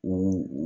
O